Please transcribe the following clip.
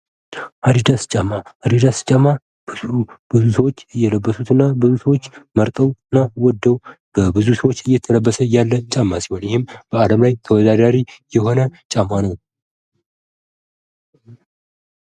አድዳስ ጫማ አድዳስ ጫማ ብዙ ሰዎች እየለበሱትና ብዙ ሰዎች መርጠውና ወደው በብዙ ሰዎች እየተለበሰ ያለ ጫማ ሲሆን ይህም በአለም ላይ ተወዳዳሪ የሆነ ጫማ ነው።